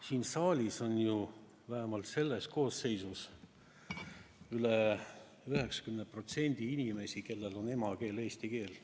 Siin saalis, vähemalt selles koosseisus, on üle 90% inimestest emakeel eesti keel.